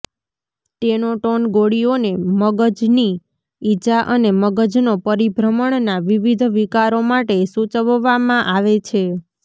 Tenoten ગોળીઓને મગજની ઇજા અને મગજનો પરિભ્રમણના વિવિધ વિકારો માટે સૂચવવામાં આવે છે